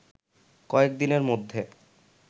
কয়েক দিনের মধ্যে